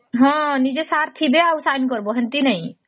ହଁ ନିଜ sir ଥିବେ ଆଉ sign କରିବା ସେମିତି ନାହିଁ